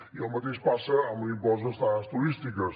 i el mateix passa amb l’impost d’estades turístiques